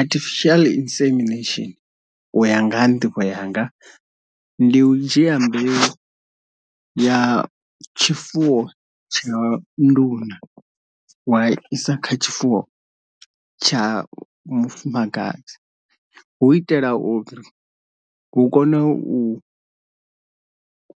Artificial insemination uya nga ha nḓivho yanga ndi u dzhia mbeu ya tshifuwo tsha nduna wa isa kha tshifuwo tsha mufumakadzi hu itela uri hu kone u